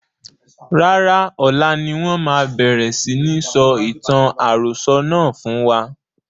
Rárá, ọlá ni wọn máa bẹ̀rẹ̀ si ní sọ ìtàn àròsọ̀ náà fún wa.